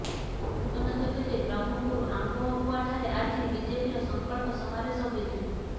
ସୂଚନାଯୋଗ୍ୟଯେ ବ୍ରହ୍ମପୁର ଆମ୍ବପୁଆଠାରେ ଆଜି ବିଜେପିର ସଂକଳ୍ପ ସମାବେଶ ହୋଇଥିଲା